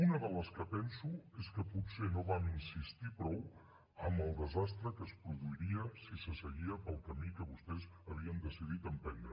una de les que penso és que potser no vam insistir prou amb el desastre que es produiria si se seguia pel camí que vostès havien decidir emprendre